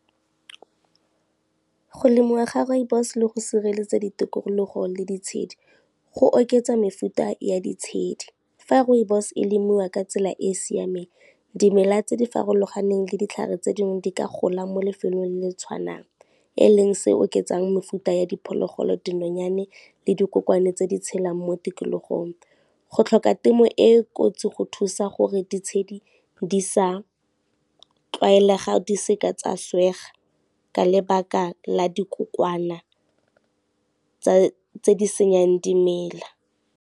Go lemiwa ga rooibos le go sireletsa ditokologo le ditshedi, go oketsa mefuta ya ditshedi. Fa rooibos e lemiwa ka tsela e e siameng dimela tse di farologaneng le ditlhare tse ding di ka gola mo lefelong le tshwanang, e leng se oketsang mefuta ya diphologolo, dinonyane le dikokwane tse di tshelang mo tikologong. Go tlhoka temo e e kotsi go thusa gore ditshedi di sa tlwaelega di se ka tsa swega ka lebaka la dikokwana tse di senyang dimela.